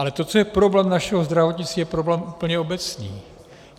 Ale to, co je problém našeho zdravotnictví, je problém úplně obecný.